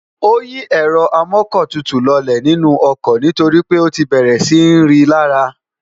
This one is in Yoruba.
ó yí ẹ̀rọ amọ́kọ̀tutù lọlẹ̀ nínú ọkọ̀ nítorí pé ó ti bẹ̀rẹ̀ sí ń rí i lárá